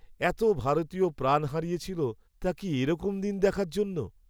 এত ভারতীয় প্রাণ হারিয়েছিল তা কি এরকম দিন দেখার জন্য?